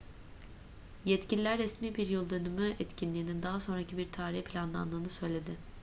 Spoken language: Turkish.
yetkililer resmi bir yıl dönümü etkinliğinin daha sonraki bir tarihe planlandığını söyledi